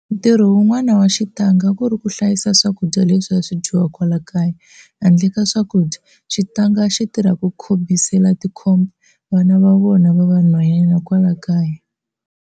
Ntirho wun'wana wa xitanga a ku ri ku hlayisa swakudya leswi a swi dyiwa kwala kaya. Handle ka swakudya, xitanga a xi tirha ku khobisela tikhoba, vana va vona va vanhwanyana kwala kaya.